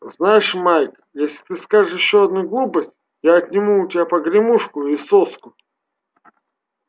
знаешь майк если ты скажешь ещё одну глупость я отниму у тебя погремушку и соску